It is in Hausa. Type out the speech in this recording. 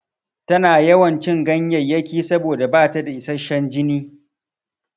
Tana yawan cin ganyayyaki saboda bata da isashshan jini.